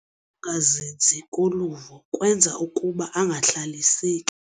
Ukungazinzi koluvo kwenza ukuba angahlaliseki.